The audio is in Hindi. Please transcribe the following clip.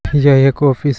यह एक ऑफिस है.